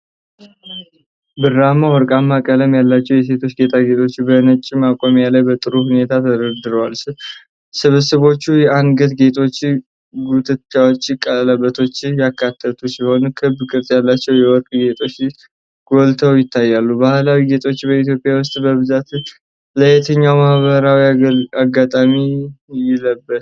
ብርማ ወርቅማ ቀለም ያላቸው የሴቶች ጌጣጌጦች በነጭ ማቆሚያ ላይ በጥሩ ሁኔታ ተደርድረዋል። ስብስቦቹ የአንገት ጌጦችን፣ ጉትቻዎችንና ቀለበቶችን ያካተቱ ሲሆን፣ ክብ ቅርጽ ያላቸው የወርቅ ጌጦች ጎልተው ይታያሉ። ባህላዊ ጌጣጌጦች በኢትዮጵያ ውስጥ በብዛት ለየትኛው ማህበራዊ አጋጣሚ ይለበሳሉ?